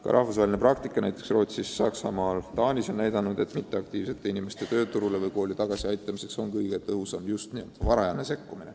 Ka rahvusvaheline praktika – näiteks Rootsis, Saksamaal ja Taanis – on näidanud, et passiivsete inimeste tööle või kooli tagasi aitamiseks on kõige tõhusam just varajane sekkumine.